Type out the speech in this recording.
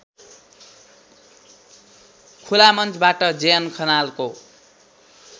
खुलामञ्चबाट JN खनालको